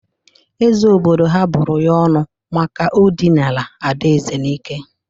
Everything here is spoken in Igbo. Eze obodo ha bụrụ ya ọnụ maka o dịnara ada Eze n'ike.